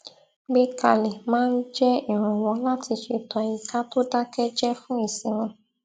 gbé kalẹ máa ń jẹ ìrànwọ láti ṣètò àyíká tó dákẹ jẹ fún ìsinmi